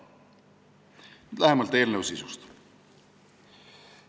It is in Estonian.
Nüüd lähemalt eelnõu sisust.